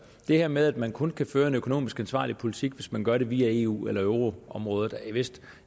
det her med at man kun kan føre en økonomisk ansvarlig politik hvis man gør det via eu eller euroområdet er vist